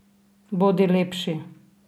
Bodi lepši!